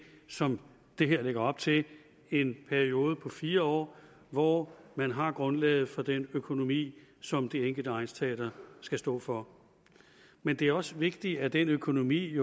som det her lægger op til en periode på fire år hvor man har grundlaget for den økonomi som det enkelte egnsteater skal stå for men det er også vigtigt at den økonomi